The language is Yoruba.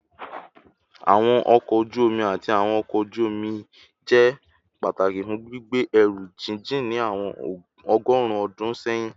Awọn ọkọ oju omi ati awọn ọkọ oju-omi jẹ pataki fun gbigbe ẹru jijin ni awọn ọgọrun ọdun sẹyin